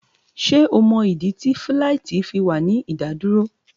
Ṣé o mọ̀ ìdí tí fíláìtí fi wà ní ìdádúró?